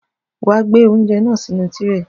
Wàá gbé oúnjẹ náà sínú tírè!